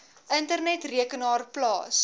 internet rekenaar plaas